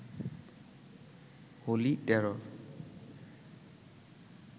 holy terror